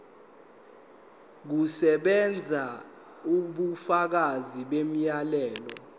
kusebenza ubufakazi bomyalelo